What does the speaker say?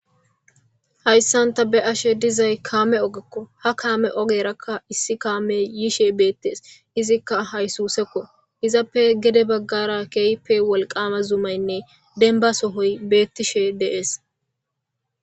Hayssa ta be7ashe dizayssi kaame ogekko. Ha kaame ogeerakka issi kaamey yishe beettees. Izikka haysuusekko izappe gede baggarakka zumaynne demba sohoy beettishe de7ees.